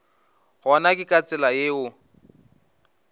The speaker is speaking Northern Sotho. gona ke ka tsela yeo